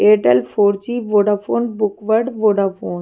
Airtel four G Vodafone बुकवर्ड Vodafone --